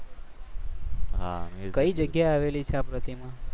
કઈ જગ્યાએ આવેલી છે આ પ્રતિમા?